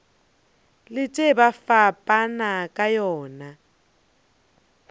letše ba fapana ka yona